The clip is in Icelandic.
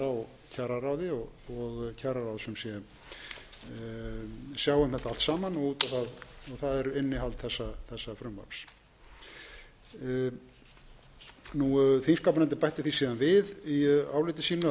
á kjararáði og kjararáð sem sé sjái um þetta allt saman og það er innihald þessa frumvarps þingskapanefndin bætti því síðan við í áliti sínu að